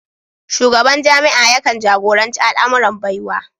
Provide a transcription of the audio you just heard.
Shugaban jami'a yakan jagoranci al'amuran Baiwa